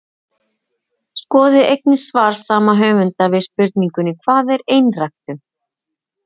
Skoðið einnig svar sama höfundar við spurningunni Hvað er einræktun?